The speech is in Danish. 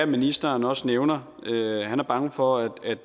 ministeren også nævner han er bange for